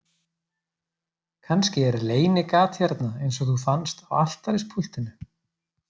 Kannski er leynigat hérna eins og þú fannst á altarispúltinu